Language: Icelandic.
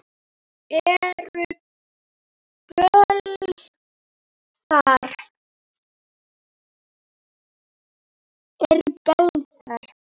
Eru böll þar?